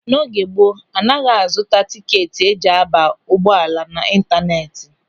N'oge gboo, a naghị a zụta tikeeti eji a ba n'ụgbọala na ịntanetị.